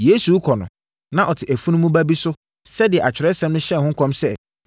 Yesu rekɔ no, na ɔte afunumu ba bi so sɛdeɛ Atwerɛsɛm hyɛɛ ho nkɔm sɛ,